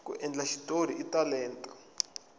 ku endla xitori i talenta